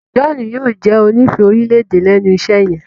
John yóò jé onífẹ̀ẹ́ orílẹ̀-èdè lénu iṣé yen.